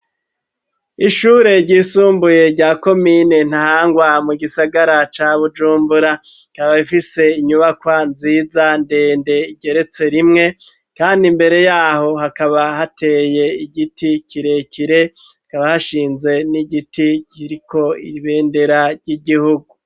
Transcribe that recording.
Ishure ryisumbuye rya komine Ntahangwa, mu gisagara ca Bujumbura, rikaba rifise inyubakwa nziza ndende igeretse rimwe, kandi imbere yaho hakaba hateye igiti kirekire, hakaba hashinze n'igiti kiriko ibendera ry'igihugu.